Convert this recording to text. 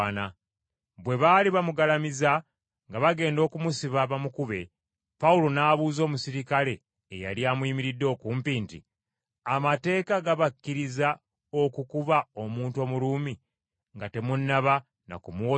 Bwe baali bamugalamizza nga bagenda okumusiba bamukube, Pawulo n’abuuza omuserikale eyali amuyimiridde okumpi nti, “Amateeka gabakkiriza okukuba omuntu Omuruumi nga temunnaba na kumuwozesa?”